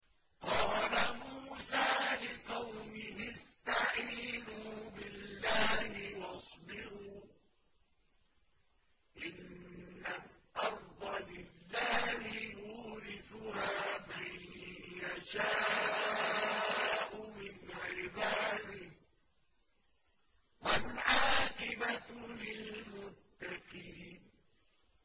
قَالَ مُوسَىٰ لِقَوْمِهِ اسْتَعِينُوا بِاللَّهِ وَاصْبِرُوا ۖ إِنَّ الْأَرْضَ لِلَّهِ يُورِثُهَا مَن يَشَاءُ مِنْ عِبَادِهِ ۖ وَالْعَاقِبَةُ لِلْمُتَّقِينَ